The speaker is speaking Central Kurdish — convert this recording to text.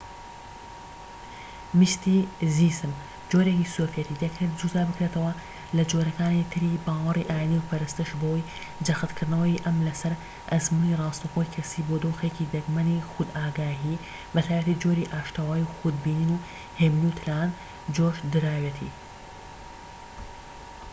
میستیزم جۆرێکی سۆفێتی دەکرێت جودا بکرێتەوە لە جۆرەکانی تری باوەڕی ئاینی و پەرستش بەوەی جەختکردنەوەی ئەم لەسەر ئەزموونی ڕاستەوخۆی کەسیی بۆ دۆخێکی دەگمەنی خودئاگاهی، بە تایبەتی جۆری ئاشتەوایی و خود بینین و هێمنی و تەنانەت جۆشدراوێتی